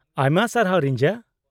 -ᱟᱭᱢᱟ ᱥᱟᱨᱦᱟᱣ, ᱨᱤᱧᱡᱟ ᱾